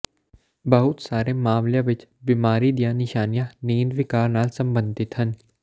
ਬਹੁਤ ਸਾਰੇ ਮਾਮਲਿਆਂ ਵਿੱਚ ਬਿਮਾਰੀ ਦੀਆਂ ਨਿਸ਼ਾਨੀਆਂ ਨੀਂਦ ਵਿਕਾਰ ਨਾਲ ਸਬੰਧਿਤ ਹਨ